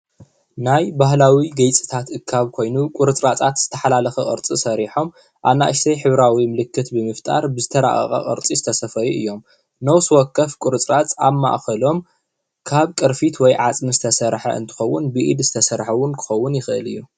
ናይ ባህላዊ ገይፅታት እካብ ኮይኑ ቁርፅራፃት ዝተሓላለኸ ቅርፂ ሰሪሖም አናእሽተይ ሕብራዊ ምልክት ብምፍጣር ብዝተራቀቀ ቅርፂ ዝተሰፈዩ እዮም። ነፍሰወከፍ ቁርፅራፅ ኣብ ማእኸሎም ካብ ቅርፊት ወይ ዓፅሚ ዝተሰርሐ እንትኸዉን ብኢድ ዝተሰርሐ እዉን ክኸዉን ይኽእል እዩ።